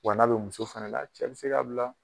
Wa n'a be muso fɛnɛ la cɛ bi se k'a bila